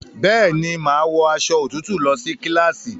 Bẹ́ẹ̀ni, màá wọ aṣọ òtútù lọ ní kíláàsì